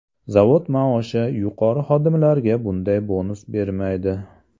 Zavod maoshi yuqori xodimlarga bunday bonus bermaydi.